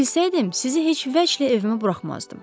Bunu bilsəydim, sizi heç vəchlə evimə buraxmazdım.